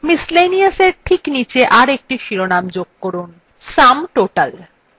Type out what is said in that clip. miscellaneous we ঠিক নীচে আরএকটি শিরোনাম যোগ করুনsum total